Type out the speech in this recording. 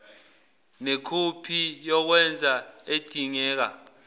nekhophi yokwengeza edingeka